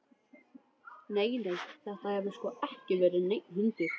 Nei, nei, þetta hefur sko ekki verið neinn hundur.